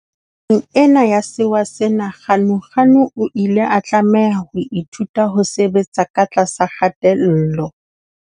Nako ena ya sewa sena Ganuganu o ile a tlameha ho ithuta ho sebetsa ka tlasa kgatello.